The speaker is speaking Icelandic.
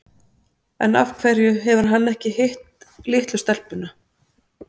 En af hverju hefur hann ekki hitt litlu stelpuna?